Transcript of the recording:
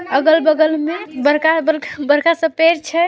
--अगल बगल मे बरकाए बर्ख बरका बरका सा पेड़ छे।